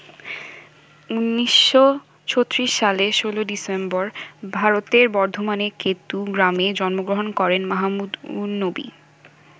১৯৩৬ সালে ১৬ ডিসেম্বর ভারতের বর্ধমানের কেতু গ্রামে জন্মগ্রহণ করেন মাহমুদ উন-নবী।